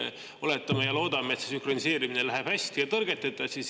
Oletame ja loodame, et see sünkroniseerimine läheb hästi ja tõrgeteta.